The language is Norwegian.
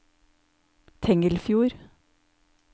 Tengelfjord